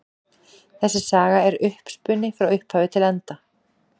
Þessi saga er uppspuni frá upphafi til enda.